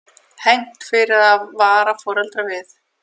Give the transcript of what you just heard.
Hegnt fyrir að vara foreldra við